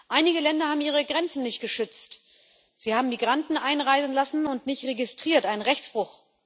Einige Länder haben ihre Grenzen nicht geschützt, sie haben Migranten einreisen lassen und nicht registriert ein Rechtsbruch.